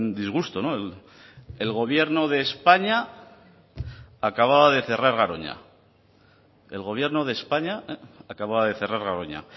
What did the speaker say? disgusto el gobierno de españa acababa de cerrar garoña el gobierno de españa acababa de cerrar garoña